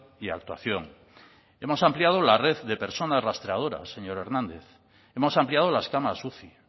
y actuación hemos ampliado la red de personas rastreadoras señor hernández hemos ampliado las camas uci